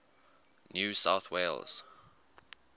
new south wales